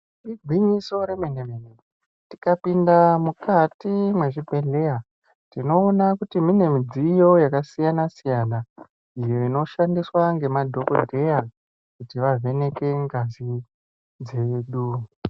Igwinyiso rwmenw mene tikapinda mukati mwezvibhedhleya tinoona kuti mune midziyo yakasiyana siyana iyo inoshandiswa ngemadhokodheya kuti vavheneke ngazi dzedu.